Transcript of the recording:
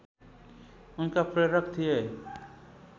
उनका प्रेरक थिए